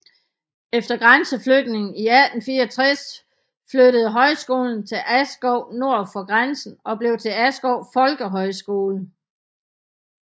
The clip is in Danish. Efter grænseflytningen i 1864 flyttede højskolen til Askov nord for grænsen og blev til Askov Folkehøjskole